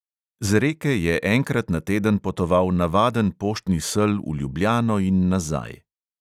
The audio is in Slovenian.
Z reke je enkrat na teden potoval navaden poštni sel v ljubljano in nazaj.